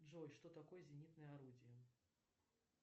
джой что такое зенитное орудие